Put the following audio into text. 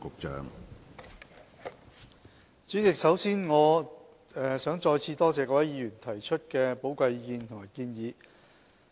主席，首先，我想再次多謝各位議員提出的寶貴意見和建議。